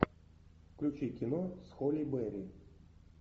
включи кино с холли берри